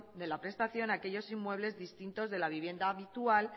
de la prestación a aquellos inmuebles distintos de la vivienda habitual